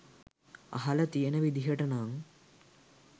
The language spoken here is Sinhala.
අහල තියන විදිහට නං